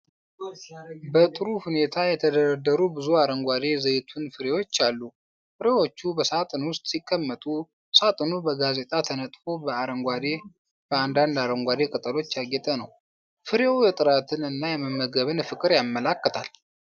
በጥሩ ሁኔታ የተደረደሩ ብዙ አረንጓዴ ዘይቱን ፍሬዎች አሉ ። ፍሬዎቹ በሳጥን ውስጥ ሲቀመጡ፣ ሣጥኑ በጋዜጣ ተነጥፎ በአንዳንድ አረንጓዴ ቅጠሎች ያጌጠ ነው። ፍሬው የጥራትን እና የመመገብን ፍቅር ያመለክታል።